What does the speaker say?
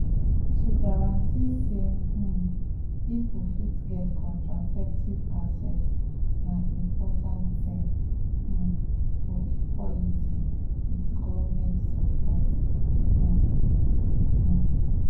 to guarantee say um people fit get contraceptive access na important thing um for equality with government support um pause.